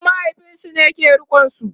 ƙanin mahaifinsu ke rikonsu